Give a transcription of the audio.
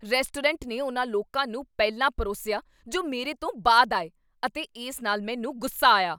Restaurant ਨੇ ਉਨ੍ਹਾਂ ਲੋਕਾਂ ਨੂੰ ਪਹਿਲਾਂ ਪਰੋਸਿਆ ਜੋ ਮੇਰੇ ਤੋਂ ਬਾਅਦ ਆਏ ਅਤੇ ਇਸ ਨਾਲ ਮੈਨੂੰ ਗੁੱਸਾ ਆਇਆ।